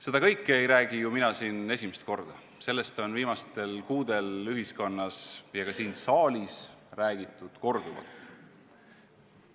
Seda kõike ei räägi ju mina siin esimest korda, sellest on viimastel kuudel ühiskonnas ja ka siin saalis räägitud korduvalt.